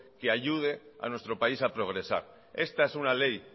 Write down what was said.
que ayude a nuestro país a progresar esta es una ley